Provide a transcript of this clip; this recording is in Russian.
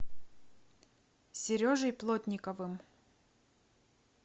сережей плотниковым